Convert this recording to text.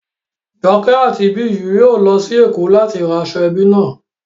Joke àti Biyi yóò lọ sí Èkó láti ra aṣọ ẹbí náà